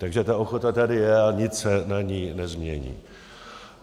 Takže ta ochota tady je a nic se na ní nezmění.